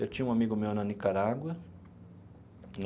Eu tinha um amigo meu na Nicarágua.